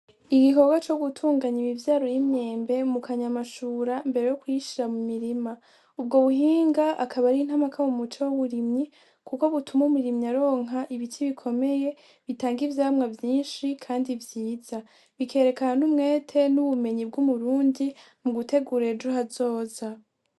Igikorwa co gutunganya imivyaro y'imyembe mukanyamashura mbere yo kuyishira mu murima, ubwo buhinga akaba ari nkakama mu muco w'uburimyi kuko bituma umurimyi aronka ibiti bikomeye bitanga ivyamwa vyinshi kandi vyiza bikerekana n'umwete, n'ubumenyi bw'umurundi mugutegura ejo hazoza.